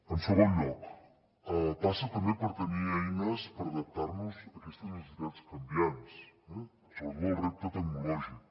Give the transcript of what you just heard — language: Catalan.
en segon lloc passa també per tenir eines per adaptar nos a aquestes necessitats canviants eh sobretot el repte tecnològic